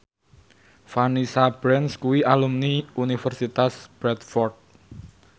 Vanessa Branch kuwi alumni Universitas Bradford